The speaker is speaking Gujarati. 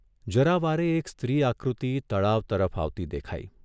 જરા વારે એક સ્ત્રી આકૃતિ તળાવ તરફ આવતી દેખાઇ.